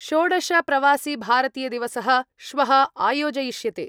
षोडश प्रवासिभारतीयदिवसः श्वः आयोजयिष्यते।